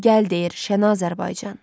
Gəl gəl deyir Şən Azərbaycan.